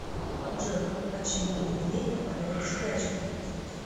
джой почему медведи впадают в спячку